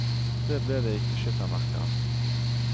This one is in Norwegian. Det ble det ikke skyttermerke av.